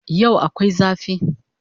Yau akwai zafi